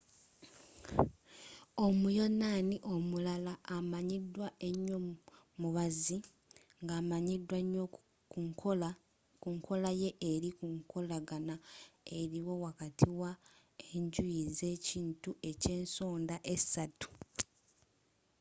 omuyonaani omulala amanyidwa enyoo mubazi ng'amanyidwa nyoo kunkola ye eri kunkolagana eriwo wakati wa enjuyi z'ekintu ekyensonda esatu